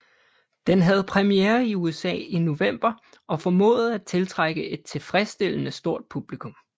Den havde premiere i USA i november og formåede at tiltrække et tilfredsstillende stort publikum